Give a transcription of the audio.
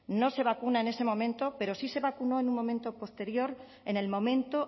no se vacuna en ese momento pero sí se vacunó en un momento posterior en el momento